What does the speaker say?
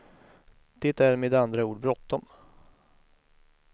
Det är med andra ord bråttom.